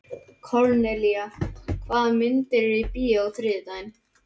Kornelía, hvaða myndir eru í bíó á þriðjudaginn?